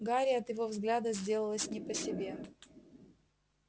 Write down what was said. гарри от его взгляда сделалось не по себе